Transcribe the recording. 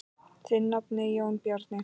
Þinn nafni, Jón Bjarni.